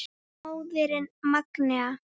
Móðirin Magnea.